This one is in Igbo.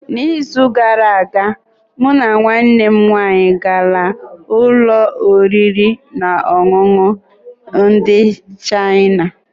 N’izu gara aga mụ na nwanne m nwanyị gara ụlọ oriri na ọṅụṅụ ndị Chịana.